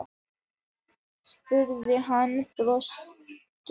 spurði hann byrstur.